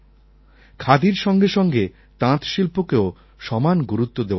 খাদির সঙ্গে সঙ্গে তাঁত শিল্পকেও সমান গুরুত্ব দেওয়া দরকার